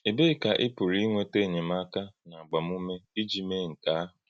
Èbèe ka ị̀ pụrụ ínwètá enyèmáka na agbàmùmé iji mee nke ahụ?